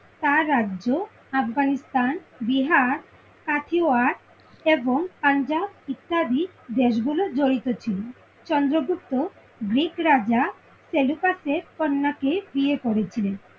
তার রাজ্য আফগানিস্তান বিহার কাথিওয়ার এবং পাঞ্জাব ইত্যাদি দেশ গুলো জড়িত ছিল। চন্দ্রগুপ্ত গ্রিক রাজা সেলুকাস এর কন্যা কে বিয়ে করেছিলেন।